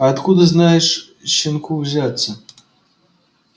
а откуда здесь щенку взяться